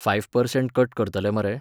Five percent cut करतले मरे?